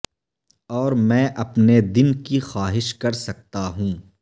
اور میں اپنے دن کی خواہش کر سکتا ہوں